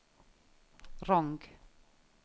Rong